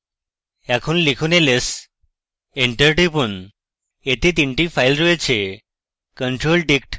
এখন লিখুন ls enter টিপুন এতে তিনটি ফাইল রয়েছে